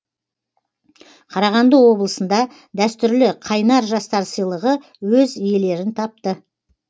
қарағанды облысында дәстүрлі қайнар жастар сыйлығы өз иелерін тапты